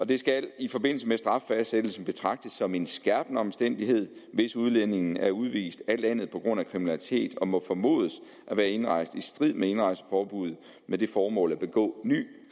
det skal i forbindelse med straffastsættelsen betragtes som en skærpende omstændighed hvis udlændingen er udvist af landet på grund af kriminalitet og må formodes at være indrejst i strid med indrejseforbuddet med det formål at begå ny